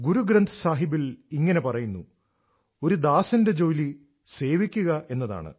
ഗുരു ഗ്രന്ഥ് സാഹിബിൽ ഇങ്ങനെ പറയുന്നു ഒരു ദാസന്റെ ജോലി സേവിക്കുക എന്നതാണ്